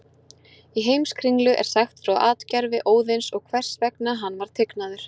Í Heimskringlu er sagt frá atgervi Óðins og hvers vegna hann var tignaður.